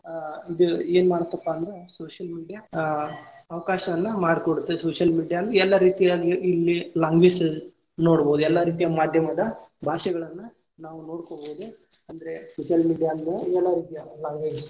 ಆ ಇದು ಏನ್ ಮಾಡುತ್ತಪ್ಪ ಅಂದ್ರ social media ಆ ಅವಕಾಶವನ್ನ ಮಾಡಿ ಕೊಡುತ್ತೆ, social media ಎಲ್ಲ ರೀತಿಯಲ್ಲಿ ಇಲ್ಲಿ language ನೋಡಬಹುದ್ ಎಲ್ಲಾ ರೀತಿಯ ಮಾದ್ಯಮದ ಭಾಷೆಗಳನ್ನ ನಾವು ನೊಡ್ಕೊಬಹುದು ಅಂದ್ರೆ social media ಎಲ್ಲಾ ರೀತಿಯ language .